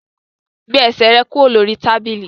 Gbé ẹsẹ̀ rẹ kúrò lórí tábìlì!